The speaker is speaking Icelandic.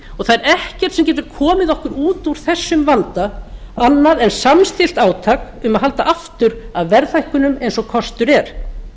og það er ekkert sem getur komið okkur út úr þessum vanda annað en samstillt átak um að halda aftur af verðhækkunum eins og kostur er